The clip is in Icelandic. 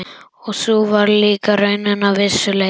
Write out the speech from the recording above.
Og sú var líka raunin að vissu leyti.